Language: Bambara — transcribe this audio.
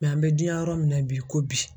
an bɛ dinya yɔrɔ min na bi i ko bi